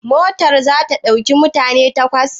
Motar za ta ɗauki mutane takwas?